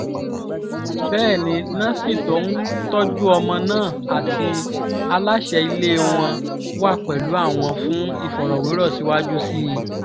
bẹ́ẹ̀ ni násì tó ń tọ́jú ọmọ náà àti aláṣẹ ilé wọn wà pẹ̀lú àwọn fún ìfọ̀rọ̀wérọ̀ síwájú sí i